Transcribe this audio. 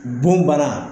Bon bana